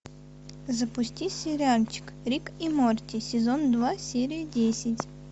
запусти сериальчик рик и морти сезон два серия десять